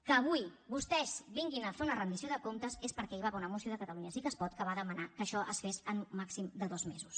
que avui vostès vinguin a fer una rendició de comptes és perquè hi va haver una moció de catalunya sí que es pot que va demanar que això es fes en un màxim de dos mesos